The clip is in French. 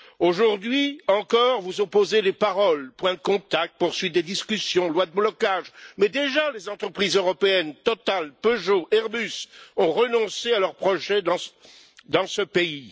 Aujourd'hui encore, vous opposez les paroles point de contact, poursuite des discussions, loi de blocage mais déjà les entreprises européennes Total, Peugeot, Airbus ont renoncé à leurs projets dans ce pays.